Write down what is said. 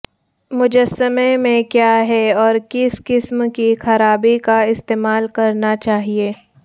مجسمہ کیا ہے اور کس قسم کی خرابی کا استعمال کرنا چاہئے